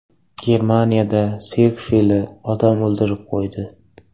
Germaniyada sirk fili odam o‘ldirib qo‘ydi.